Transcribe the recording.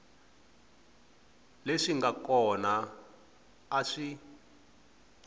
leswi nga kona a swi